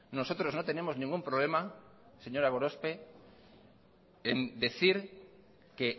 nosotros no tenemos ningún problema señora gorospe en decir que